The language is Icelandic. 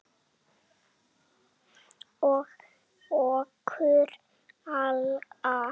Og okkur alla.